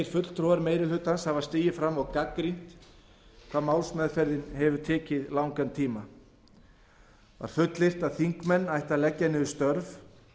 fulltrúar meiri hlutans hafa stigið fram og gagnrýnt hvað málsmeðferðin hefur tekið langan tíma var fullyrt að þingmenn ættu að leggja niður störf